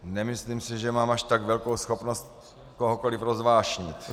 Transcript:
Nemyslím si, že mám až tak velkou schopnost kohokoliv rozvášnit.